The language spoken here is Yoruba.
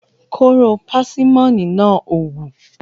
Kóró pásímọ́nì náà ò wù.